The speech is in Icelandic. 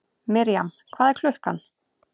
Mirjam, hvað er klukkan?